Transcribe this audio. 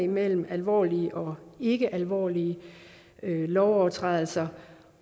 mellem alvorlige og ikkealvorlige lovovertrædelser